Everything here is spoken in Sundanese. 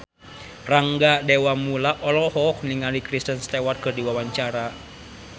Rangga Dewamoela olohok ningali Kristen Stewart keur diwawancara